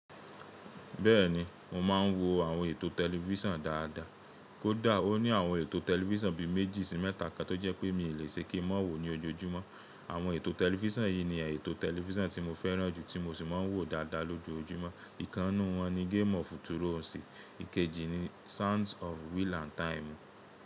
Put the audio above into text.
Bẹ́ẹ̀ni mo máa ń wo àwọn ètò tẹlifísàn dáadáa. Kódà ó ní àwọn ètò tẹlifísàn bí i méjì sí mẹ́ta kan tó jẹ́ pé mi lè ṣe kí mọ́ wo ní ojoojúmọ́. Àwọn ètò tẹlifísàn yìí ni ètò tẹlifísàn tí mo fẹ́ràn jù tí mo sì máa ń wò dáadáa lójoojúmọ́. Ìkannú wọn ni Game of Thrones, ìkejì ni Sands of Wheel and Time.